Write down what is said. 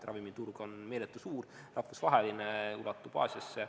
Ravimiturg on meeletult suur, rahvusvaheline, ulatub Aasiasse.